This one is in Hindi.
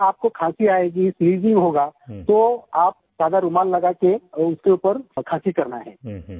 और जब आपको खाँसी आयेंगी स्नीजिंग होगा तो रुमाल लगा के सादा रुमाल लगा के उसके ऊपर खाँसी करना है